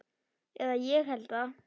Eða ég held það.